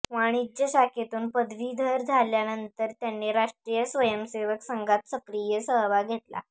वाणिज्य शाखेतून पदवीधर झाल्यानंतर त्यांनी राष्ट्रीय स्वयंसेवक संघात सक्रिय सहभाग घेतला